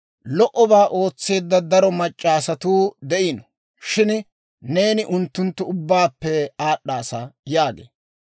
«Lo"obaa ootseedda daro mac'c'a asatuu de'iino; shin neeni unttunttu ubbaappe aad'd'aasa» yaagee.